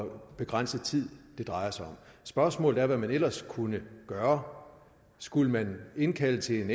og hvor begrænset tid det drejer sig om spørgsmålet er hvad man ellers kunne gøre skulle man indkalde til en